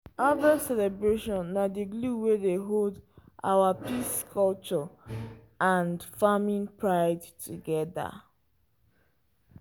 harvest celebration na di glue wey dey hold our peace culture and farming pride together.